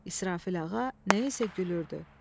İsrafil ağa nəyinsə gülüürdü.